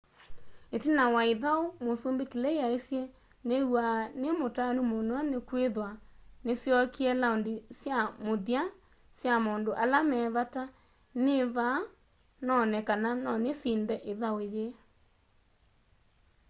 itina wa ithau musumbi clay aisye niiw'a nimutanu muno nikwithwa nisyokie laundi sya muthya sya maundu ala me vata nivaa none kana nonisinde ithau yii